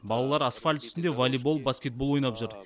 балалар асфальт үстінде волейбол баскетбол ойнап жүр